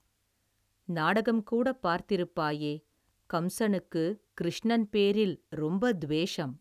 நாடகம்கூடப் பார்த்திருப்பாயே, கம்ஸனுக்குக் கிருஷ்ணன் பேரில், ரொம்பத் துவேஷம்.